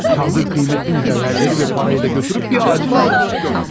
Çaldığı qiymetli mücehverləri və parayı da götürüb bir ağacın altına gömmüş.